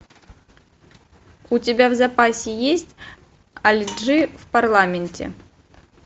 у тебя в запасе есть али джи в парламенте